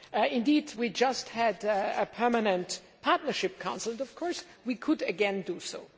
Indeed, we just had a permanent partnership council, but of course, we could again do so.